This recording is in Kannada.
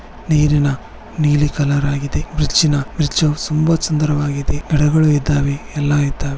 ನೀರಿನ ನೀಲಿ ಕಲ್ಲರ್ ಆಗಿದೆ ಬ್ರಿಡ್ಜಿನ-ಬ್ರಿಡ್ಜು ತುಂಬಾ ಸುಂದರವಾಗಿದೆ ಗಿಡಗಳು ಇದ್ದಾವೆ ಯಲ್ಲ ಇದ್ದಾವೆ.